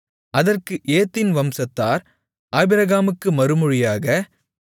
அதற்கு ஏத்தின் வம்சத்தார் ஆபிரகாமுக்கு மறுமொழியாக